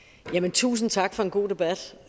tusind tak for en god debat